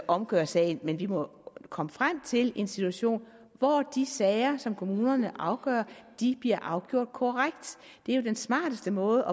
omgør sagen men vi må komme frem til en situation hvor de sager som kommunerne afgør bliver afgjort korrekt det er jo den smarteste måde